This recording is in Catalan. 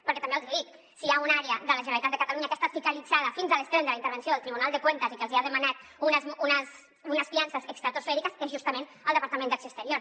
perquè també els hi dic si hi ha una àrea de la generalitat de catalunya que ha estat fiscalitzada fins a l’extrem de la intervenció del tribunal de cuentas i que els hi ha demanat unes fiances estratosfèriques és justament el departament d’acció exterior